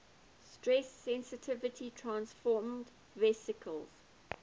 stress sensitive transfersome vesicles